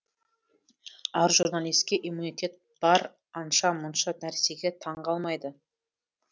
ал журналисте иммунитет бар анша мұнша нәрсеге таңқалмайды